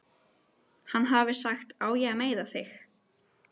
Hann hafi sagt: Á ég að meiða þig?